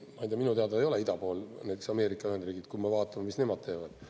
Aga minu teada ei ole ida pool näiteks Ameerika Ühendriigid, kui me vaatame, mis nemad teevad.